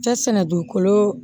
Cɛ sɛnɛ dugukolo